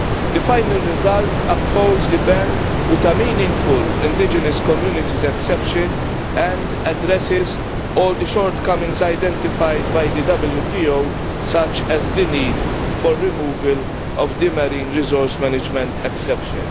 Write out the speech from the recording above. The final result upholds the ban with a meaningful indigenous communities exception and addresses all the shortcomings identified by the WTO, such as the need for removal of the marine resource management exception.